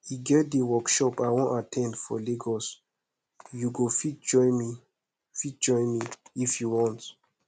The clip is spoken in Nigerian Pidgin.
e get dis workshop i wan at ten d for lagos you go fit join me fit join me if you want